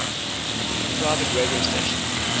private radio stations